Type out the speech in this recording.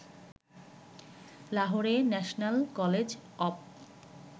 লাহোরের national college of